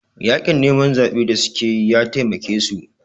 Yaƙin neman zaɓen da suka yi ya taimake su